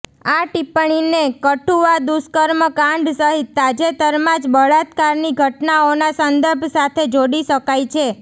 આ ટિપ્પણીને કઠુઆ દુષ્કર્મ કાંડ સહિત તાજેતરમાં જ બળાત્કારની ઘટનાઓના સંદર્ભ સાથે જોડી શકાય છે